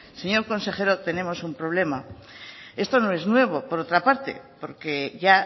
señor consejero tenemos un problema esto no es nuevo por otra parte porque ya